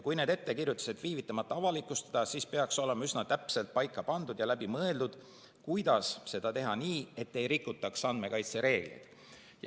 Kui need ettekirjutused viivitamata avalikustada, siis peaks olema üsna täpselt paika pandud ja läbi mõeldud, kuidas seda teha nii, et ei rikutaks andmekaitsereegleid.